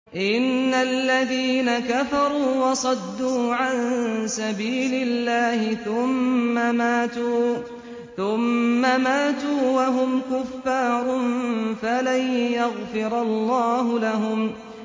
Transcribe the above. إِنَّ الَّذِينَ كَفَرُوا وَصَدُّوا عَن سَبِيلِ اللَّهِ ثُمَّ مَاتُوا وَهُمْ كُفَّارٌ فَلَن يَغْفِرَ اللَّهُ لَهُمْ